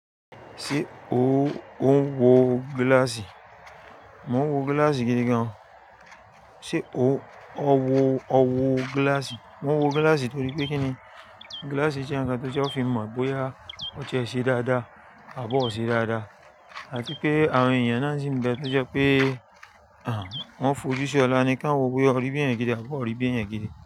Ṣé ó ń wọ gíláàsì? Mò n wọ gíláàsì gidi gan. Ṣé ó, ọ wọ, ọ wọ gíláàsì? Mò n wọ gíláàsì torí pé kíni, gíláàsì jẹ́ ǹkan tó jẹ́ ó fi mọ̀ bóyá ọtí ẹ ṣe dáadáa àbọ́ ọ ṣe dáadáa àti pé àwọn èèyàn náà sì ní bẹ tó jẹ́ pé wọ́n fojú sí ọ̀la ni kí wọ́n wo bóyá ọríbi èèyàn gidi àbọ́ rí bi èèyàn gidi.